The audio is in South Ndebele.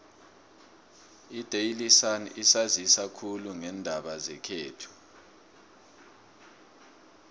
idaily sun isanzisa khulu ngeendaba zekhethu